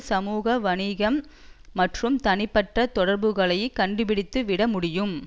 சமூக வணிகம் மற்றும் தனிப்பட்ட தொடர்புகளையும் கண்டுபிடித்து விட முடியும்